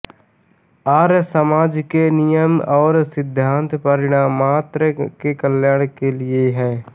आर्यसमाज के नियम और सिद्धांत प्राणिमात्र के कल्याण के लिए है